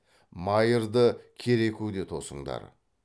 майырды керекуде тосыңдар